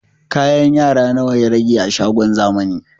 Kayan yara nawa ya rage a shagon zamani?